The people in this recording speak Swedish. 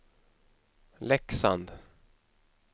Leksand